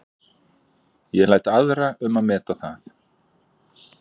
Ég læt aðra um að meta það.